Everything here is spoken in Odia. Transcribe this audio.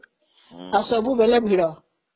ଆଉ ସବୁବେଳେ ଭିଡ଼